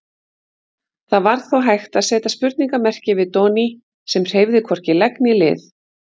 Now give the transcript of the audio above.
Það var þó hægt að seta spurningarmerki við Doni sem hreyfði hvorki legg né lið.